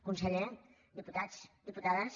conseller diputats diputades